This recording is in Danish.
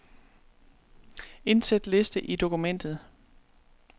Indsæt liste i dokumentet.